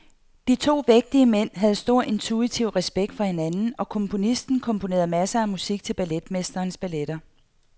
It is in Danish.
De to vægtige mænd havde stor intuitiv respekt for hinanden, og komponisten komponerede masser af musik til balletmesterens balletter.